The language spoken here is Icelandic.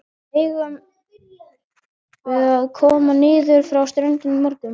Eigum við að koma niður á strönd á morgun?